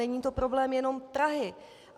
Není to problém jenom Prahy.